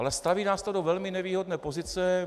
Ale staví nás to do velmi nevýhodné pozice.